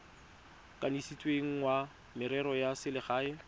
kanisitsweng wa merero ya selegae